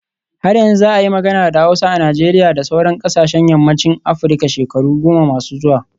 Har yanzu za a yi magana da Hausa a Najeriya da sauran kasashen yammacin Afirka shekaru goma masu zuwa